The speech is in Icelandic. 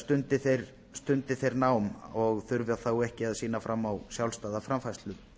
stundi þeir nám og þurfa þá ekki að sýna fram á sjálfstæða framfærslu